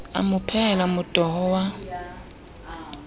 a mo phehela motoho wa